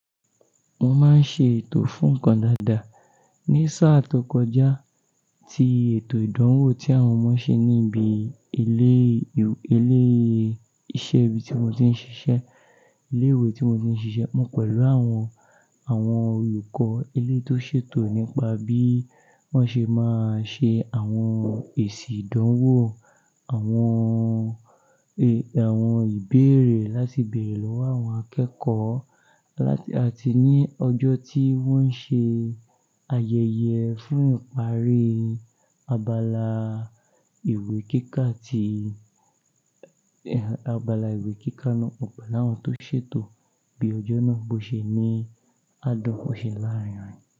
Mo máa ń ṣe ètò fún nǹkan dáadáa. Ní sáà tó kọjá ti ètò ìdánwò tí àwọn ọmọ ṣe níbi ilé, ilé iṣẹ́ ibi tí mo ti ń ṣiṣẹ́, ilé ìwé tí mo ti ń ṣiṣẹ́. Mo pẹ̀lú àwọn, àwọn olùkọ́ eleyii tó ṣètò nípa bí wọ́n ṣe máa ṣe àwọn èsì ìdánwò, àwọn ìbéèrè láti bèèrè lọ́wọ́ àwọn akẹ́kọ̀ọ́ láti àti ní ọjọ́ tí wọ́n ṣe ayẹyẹ fún ìparí abala ìwé kíkà tí, abala ìwé kíkà náà. Ọ̀pọ̀ láàrún tó ṣètò bí ọjọ́ náà bó ṣe ní á dán an fúnṣẹ́ láàárín.